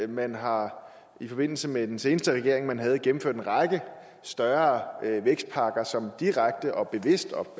man har i forbindelse med den seneste regering man havde gennemført en række større vækstpakker som direkte og bevidst og